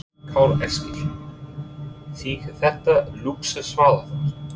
Karl Eskil: Þykir þetta lúxusvara þar?